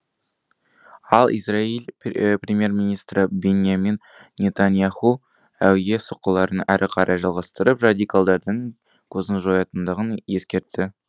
ал израиль премьер министрі биньямин нетаньяху әуе соққыларын әрі қарай жалғастырып радикалдардың көзін жоятындығын ескертті